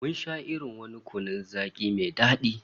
Mun sha wani irin kunun zaki mai dadi